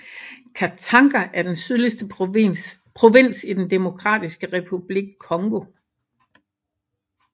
Katanga er den sydligste provins i den Demokratiske Republik Congo